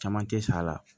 Caman tɛ sa la